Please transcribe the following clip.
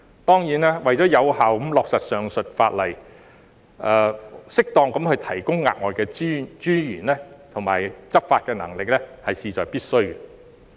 當然，為了有效地落實上述法例，適合地提供額外資源和加強執法能力，是事在必須的。